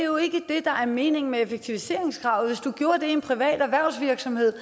der er meningen med effektiviseringskravet i en privat erhvervsvirksomhed